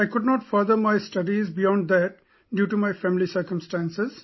I could not further my studies beyond that due to family circumstances